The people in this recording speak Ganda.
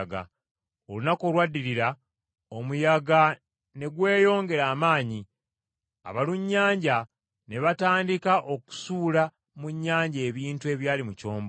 Olunaku olwaddirira omuyaga ne gweyongera amaanyi, abalunnyanja ne batandika okusuula mu nnyanja ebintu ebyali mu kyombo.